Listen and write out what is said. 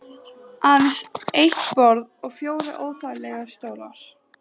Aðeins eitt borð og fjórir óþægilegir stólar.